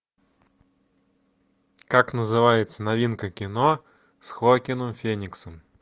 как называется новинка кино с хоакином фениксом